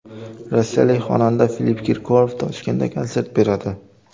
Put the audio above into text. Rossiyalik xonanda Filipp Kirkorov Toshkentda konsert beradi.